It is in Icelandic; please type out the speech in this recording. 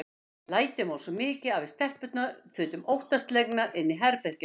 Lætin voru svo mikil að við stelpurnar þutum óttaslegnar inn í herbergið okkar.